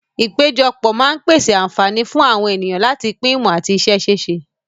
Ìpéjọpọ̀ máa ń pèsè àǹfààní fún àwọn ènìyàn láti pín ìmọ̀ àti iṣẹ́ ṣíṣe.